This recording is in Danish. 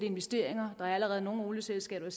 investeringer der er allerede nogle olieselskaber